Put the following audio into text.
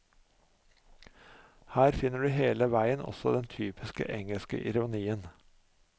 Her finner du hele veien også den typiske engelske ironien.